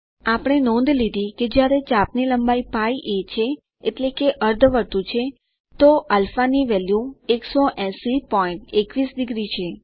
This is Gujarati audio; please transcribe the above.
આપણે નોંધ લીધી કે જ્યારે ચાપની લંબાઇ π a છે એટલે કે અર્ધ વર્તુળ છે તો α ની વેલ્યુ 18021 ડિગ્રી છે